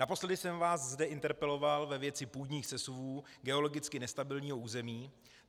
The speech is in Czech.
Naposledy jsem vás zde interpeloval ve věci půdních sesuvů geologicky nestabilního území.